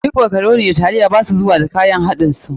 Duk makaroni da sphagetii ba su zuwa da kayan haɗin su.